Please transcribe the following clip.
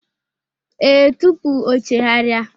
Ee, tupu o chegharia.